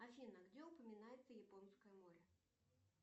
афина где упоминается японское море